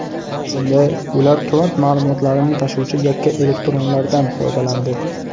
Bunda ular kvant ma’lumotlarini tashuvchi yakka elektronlardan foydalandi.